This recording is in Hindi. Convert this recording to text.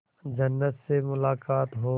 जन्नत से मुलाकात हो